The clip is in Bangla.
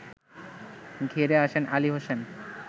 ঘেরে আসেন আলী হোসেন